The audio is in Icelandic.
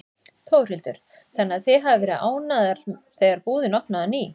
Þórhildur: Þannig að þið hafið verið ánægðar þegar búðin opnaði á ný?